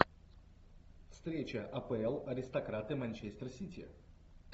встреча апл аристократы манчестер сити